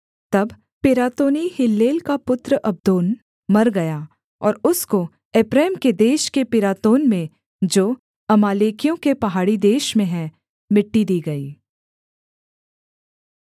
तब Pirathonite Hillel का पुत्र अब्दोन मर गया और उसको एप्रैम के देश के पिरातोन में जो अमालेकियों के पहाड़ी देश में है मिट्टी दी गई